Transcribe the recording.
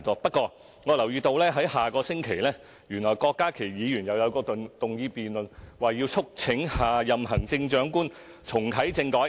不過，我留意到下星期郭家麒議員動議一項議案辯論："促請下任行政長官重啟政改"。